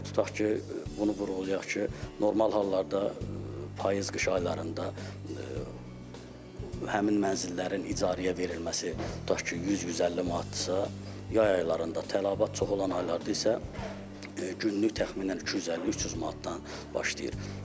Tutaq ki, bunu vurğulayaq ki, normal hallarda payız-qış aylarında həmin mənzillərin icarəyə verilməsi tutaq ki, 100-150 manatdırsa, yay aylarında tələbat çox olan aylarda isə günlük təxminən 250-300 manatdan başlayır.